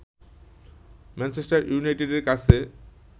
Manchester ইউনাইটেডের কাছে